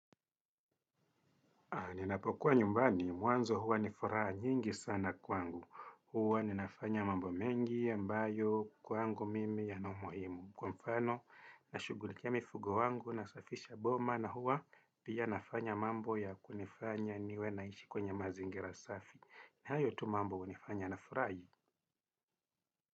Ninapokuwa nyumbani. Mwanzo huwa ni furaha nyingi sana kwangu. Huwa ninafanya mambo mengi ambayo kwangu mimi yana umuhimu. Kwa mfano, nashugulikia mifugo wangu nasafisha boma na huwa pia nafanya mambo ya kunifanya niwe naishi kwenye mazingira safi. Na hayo tu mambo hunifanya nafurahi.